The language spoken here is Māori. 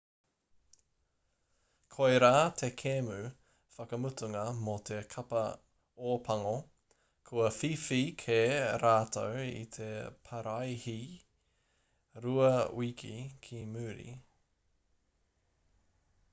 koirā te kēmu whakamutunga mō te kapa ōpango kua whiwhi kē rātou i te paraihee rua wiki ki muri